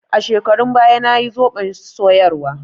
A shekarun baya nayi zoɓon soyarwa.